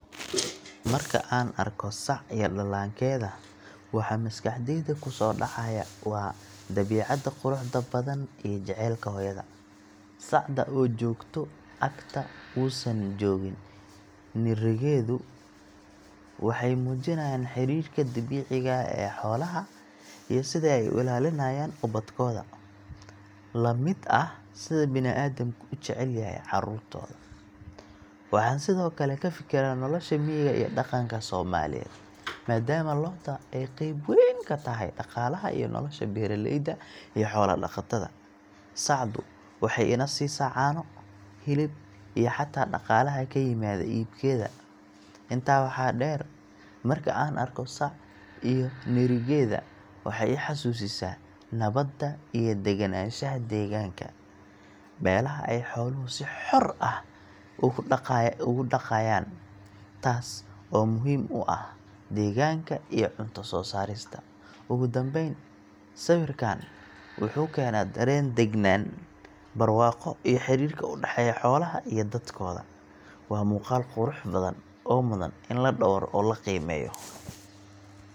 Marka aan arko sac iyo dhallaankeeda, waxa maskaxdayda kusoo dhacaya waa dabiicadda quruxda badan iyo jacaylka hooyada. Sacda oo joogta agta uusan joogin nirigeedu waxay muujiyaan xidhiidhka dabiiciga ah ee xoolaha iyo sida ay u ilaaliyaan ubadkooda, la mid ah sida bini’aadamku u jecel yahay carruurtooda. Waxaan sidoo kale ka fikiraa nolosha miyiga iyo dhaqanka Soomaaliyeed, maadaama lo’da ay qayb weyn ka tahay dhaqaalaha iyo nolosha beeraleyda iyo xoola-dhaqatada. Sacdu waxay ina siisaa caano, hilib, iyo xataa dhaqaalaha ka yimaada iibkeeda. Intaa waxaa dheer, marka aan arko sac iyo nirigeeda, waxay i xasuusisaa nabadda iyo degganaanshaha deegaanka, meelaha ay xooluhu si xor ah ugu daaqayaan, taasoo muhiim u ah deegaanka iyo cunto soo saarista. Ugu dambayn, sawirkaas wuxuu keenaa dareen degganaan, barwaaqo iyo xiriirka u dhexeeya xoolaha iyo dadkooda. Waa muuqaal qurux badan oo mudan in la dhowro oo la qiimeeyo.